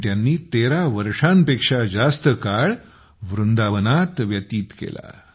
पण त्यांनी 13 वर्षांपेक्षा जास्त काळ वृंदावनात व्यतीत केला